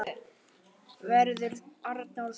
Verður Arnór þar?